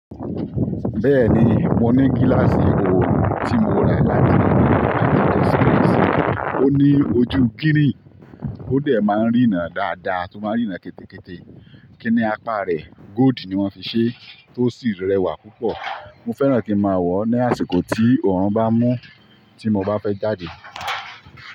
Bẹ́ẹ̀ni, mo ní gíláàsì oòrùn tí mo rà láti inú ilẹ̀ Nàìjíríà, àti ọ̀ṣọ́ rẹ̀ sì. Ó ní ojú green, ó dẹ̀ máa ń rína dáadáa, tún máa ń rína kétékété. Kí ni apá rẹ̀, góodì ni wọ́n fi ṣẹ́, tó sì rẹwà púpọ̀. Mo fẹ́ràn kí máa wọ̀ ọ́ ní àsìkò tí oorun bá mú tí mo bá fẹ́ jáde.